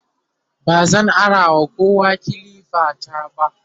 bazan arawa kowa kilifa ta ba